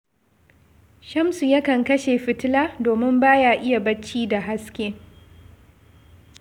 Shamsu yakan kashe fitila, domin ba ya iya barci da haske